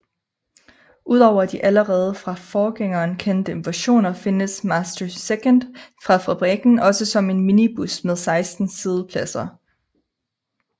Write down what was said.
Ud over de allerede fra forgængeren kendte versioner findes Master II fra fabrikken også som minibus med 16 siddepladser